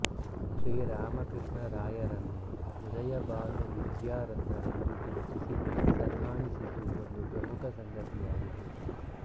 ಶ್ರೀ ರಾಮಕೃಷ್ಣರಾಯರನ್ನು ಉದಯಭಾನು ವಿದ್ಯಾರತ್ನ ರೆಂದು ಗುರುತಿಸಿ ಸನ್ಮಾನಿಸಿದ್ದು ಒಂದು ಪ್ರಮುಖ ಸಂಗತಿಯಾಗಿದೆ